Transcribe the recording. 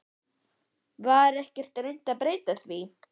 Var ekkert reynt að breyta því?